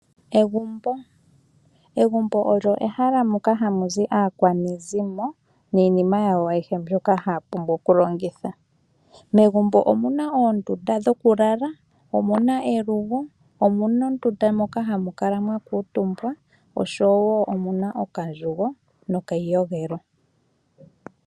Egumbo' Egumbo olyo ehala moka hamu zi aakwanezimo niinima yawo ayihe mbyoka haya vulu okulongitha. Megumbo omu na oondunda dhokulala, omu na elugo, omu na ondunda moka hamu kala mwa kuutumbwa oshowo omu na okandjugo nokayiyogelo.